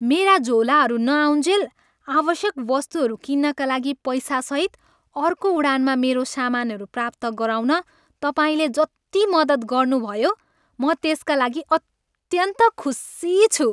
मेरा झोलाहरू नआउन्जेल आवश्यक वस्तुहरू किन्नका लागि पैसासहित अर्को उडानमा मेरो सामानहरू प्राप्त गराउन तपाईँले जति मद्दत गर्नुभयो, म त्यसका लागि अत्यन्त खुसी छु।